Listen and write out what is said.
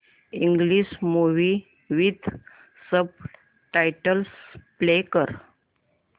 English movie with subtitles play कर